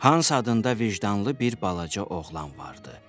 Hans adında vicdanlı bir balaca oğlan vardı.